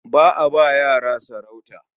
Ba a ba yara sarauta.